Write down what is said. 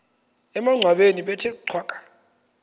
emangcwabeni bethe cwaka